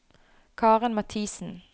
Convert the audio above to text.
Karen Mathiesen